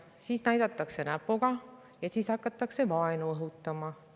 Siis näidatakse näpuga ja hakatakse vaenu õhutama.